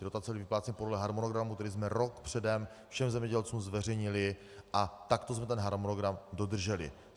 Ty dotace byly vypláceny podle harmonogramu, který jsme rok předem všem zemědělcům zveřejnili, a takto jsme ten harmonogram dodrželi.